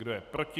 Kdo je proti?